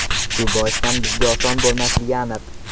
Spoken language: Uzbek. Shu boisdan bizga oson bo‘lmasligi aniq.